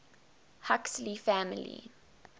huxley family